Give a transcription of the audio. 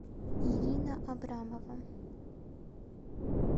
ирина абрамова